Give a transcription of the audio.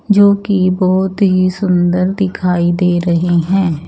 जो कि बहोत ही सुंदर दिखाई दे रहे हैं।